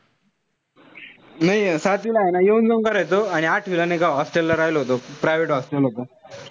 नाई सातवीला ए ना येऊन-जाऊन करायचो. आणि आठवीला नाई का hostel ला राहिलो होतो. Private hostel होत.